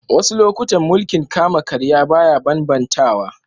Wassu lokatai mulki'n kama-karya baya ban-bantawa.